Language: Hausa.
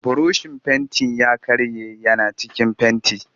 Burushin fentin ya karye yana cikin fenti